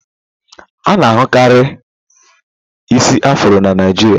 A-na ahụ karị isi afrọ na Naịjirịa.